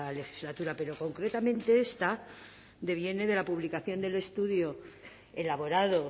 legislatura pero concretamente esta deviene de la publicación del estudio elaborado